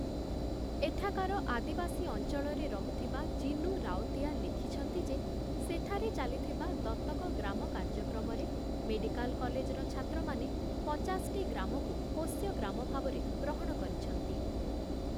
ଏଠାକାର ଆଦିବାସୀ ଅଞ୍ଚଳରେ ରହୁଥିବା 'ଜିନୁ ରାଓତିଆ' ଲେଖିଛନ୍ତି ଯେ, ସେଠାରେ ଚାଲିଥିବା 'ଦତକ' ଗ୍ରାମ କାର୍ଯ୍ୟକ୍ରମରେ ମେଡ଼ିକାଲ କଲେଜର ଛାତ୍ରମାନେ ପଚାଶଟି ଗ୍ରାମକୁ ପୋଷ୍ୟଗ୍ରାମ ଭାବରେ ଗ୍ରହଣ କରିଛନ୍ତି ।